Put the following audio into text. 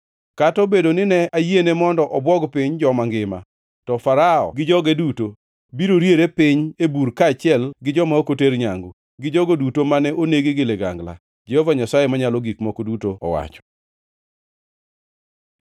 Kata obedo ni ne ayiene mondo obwog piny joma ngima, to Farao gi joge duto biro riere piny e bur kaachiel gi joma ok oter nyangu, gi jogo duto ma onegi gi ligangla, Jehova Nyasaye Manyalo Gik Moko Duto owacho.”